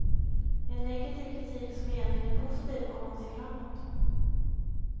En negativ kritik som egentligen är positiv om man ser framåt.